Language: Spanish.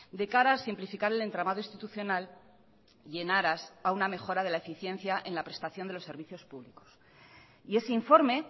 de cara a simplificar el entramado institucional y en aras a una mejora de la eficiencia en la prestación de los servicios públicos y ese informe